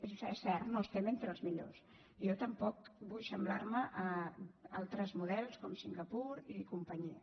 és cert no estem entre els millors jo tampoc vull assemblar me a altres models com singapur i companyia